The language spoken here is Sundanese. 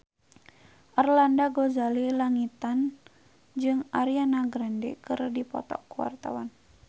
Arlanda Ghazali Langitan jeung Ariana Grande keur dipoto ku wartawan